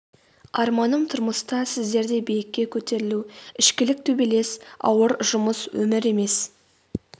арманым тұрмыста сіздердей биікке көтерілу ішкілік төбелес ауыр жұмыс өмір емес